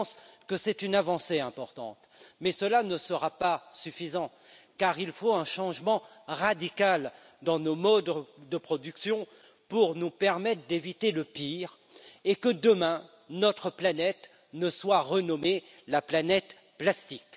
Je pense que c'est une avancée importante, mais cela ne sera pas suffisant car il faut un changement radical dans nos modes de production pour nous permettre d'éviter le pire et que demain notre planète ne soit renommée la planète plastique.